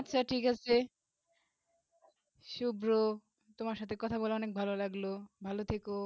আচ্ছা ঠিক আছে সুব্র তোমার সাথে কথা বলে অনেক ভালো লাগলো ভালো থেকো